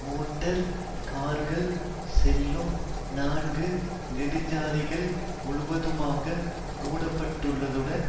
motor கார்கள் செல்லும் நான்கு நெடுஞ்சாலைகள் முழுவதுமாக மூடப்பட்டுள்ளதுடன்